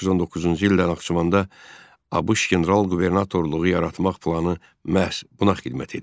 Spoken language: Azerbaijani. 1919-cu ildə Naxçıvanda ABŞ general-qubernatorluğu yaratmaq planı məhz buna xidmət edirdi.